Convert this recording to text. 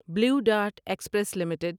blue Dart Express limited